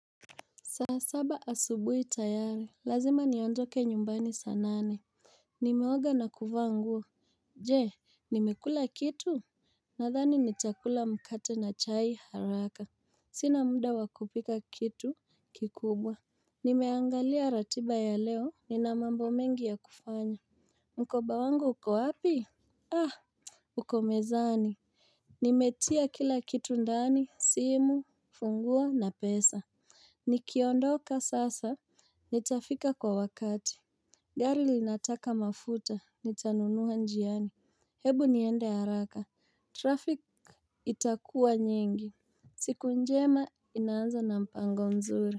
Saa saba asubuhi tayari, lazima niondoke nyumbani saa nane. Nimeoga na kuvaa nguo. Je, nimekula kitu? Nadhani nitakula mkate na chai haraka. Sina mda wa kupika kitu kikubwa. Nimeangalia ratiba ya leo, nina mambo mengi ya kufanya. Mkoba wangu uko wapi? Uko mezani. Nimetia kila kitu ndani, simu, funguo na pesa. Nikiondoka sasa, nitafika kwa wakati. Gari linataka mafuta, nitanunua njiani. Hebu niende haraka, traffic itakuwa nyingi. Siku njema inaanza na mpango mzuri.